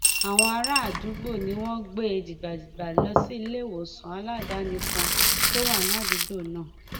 àwọn àràádúgbò ni wọn gbé e dìgbàdìgbà lọ síléèwòsàn aládàáni kan tó wà ní àdúgbò náà